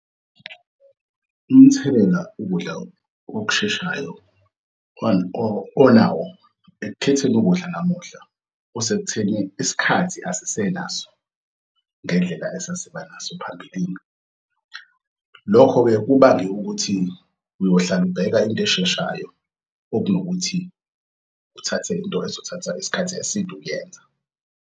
Umthelela ukudla okusheshayo onawo ekukhetheni ukudla namuhla osekutheni isikhathi asisenaso ngendlela esasibanaso phambilini. Lokho-ke kubange ukuthi uyohlala ubheka into esheshayo okunokuthi uthathe into ezizothatha isikhathi eside ukuyenza.